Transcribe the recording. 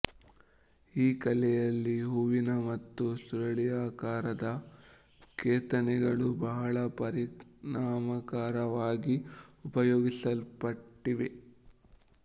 ಈ ಕಲೆಯಲ್ಲಿ ಹೂವಿನ ಮತ್ತು ಸುರುಳಿಯಾಕಾರದ ಕೆತ್ತನೆಗಳು ಬಹಳ ಪರಿಣಾಮಕಾರಿಯಾಗಿ ಉಪಯೋಗಿಸಲ್ಪಟ್ಟಿವೆ